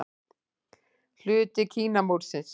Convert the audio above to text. Hluti Kínamúrsins.